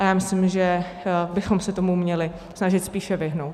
A já myslím, že bychom se tomu měli snažit spíše vyhnout.